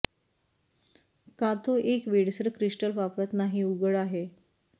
का तो एक वेडसर क्रिस्टल वापरत नाही उघड आहे